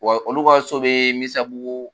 Wa olu ka so bɛ Misabugu